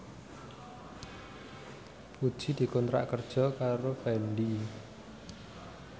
Puji dikontrak kerja karo Fendi